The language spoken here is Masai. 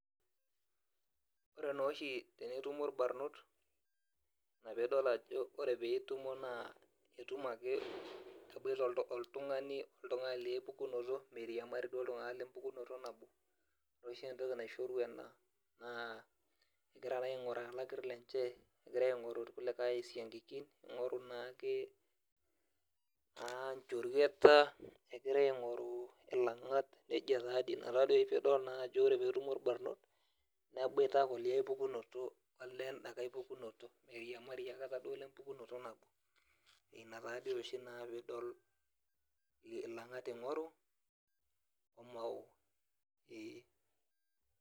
ore naa oshi tenetumo ilbarnot naa etumo ake eboita oltungani oltungani lie pukunoto, nabo ore oshi entoki naishoru ena naa egira aingoru ilakir lenye, egira aingoru ilkulikae isiankikin naa ake inchurueta egira aingoru ilangat najia taadii inatadii ore pee idol etumo ilbarnot neboita enakulie pukunoto, naata taa dii oshi ore pidol eboita ilangat ingoru, omao ee.